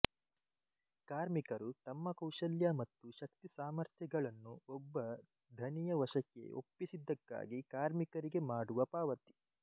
ಕಾರ್ಮಿಕರು ತಮ್ಮ ಕೌಶಲ್ಯ ಮತ್ತು ಶಕ್ತಿಸಾಮಥ್ರ್ಯಗಳನ್ನು ಒಬ್ಬ ಧಣಿಯ ವಶಕ್ಕೆ ಒಪ್ಪಿಸಿದ್ದಕ್ಕಾಗಿ ಕಾರ್ಮಿಕರಿಗೆ ಮಾಡುವ ಪಾವತಿ